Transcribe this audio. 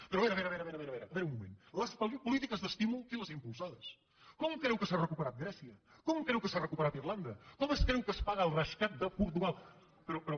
però a veure a veure a veure a veure un moment les polítiques d’estímul qui les ha impulsades com creu que s’ha recuperat grècia com creu que s’ha recuperat irlanda com es creu que es paga el rescat de portugal però però